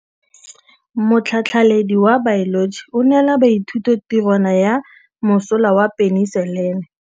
Motlhatlhaledi wa baeloji o neela baithuti tirwana ya mosola wa peniselene.